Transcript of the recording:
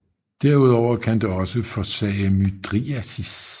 Derudover kan det også forsage mydriasis